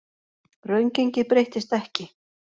Raungengið breyttist ekki